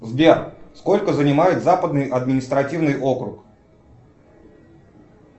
сбер сколько занимает западный административный округ